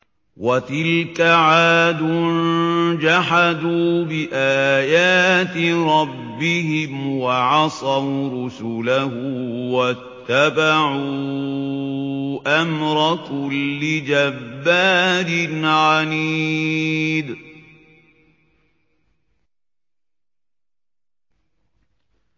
وَتِلْكَ عَادٌ ۖ جَحَدُوا بِآيَاتِ رَبِّهِمْ وَعَصَوْا رُسُلَهُ وَاتَّبَعُوا أَمْرَ كُلِّ جَبَّارٍ عَنِيدٍ